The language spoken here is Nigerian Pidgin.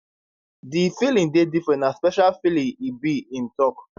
di feeling dey different na special feeling e be im tok